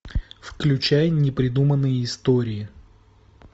включай непридуманные истории